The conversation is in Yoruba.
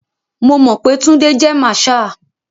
Mo mọ̀ pé Túndé jé marshal.